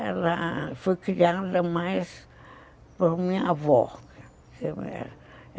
Ela foi criada mais por minha avó.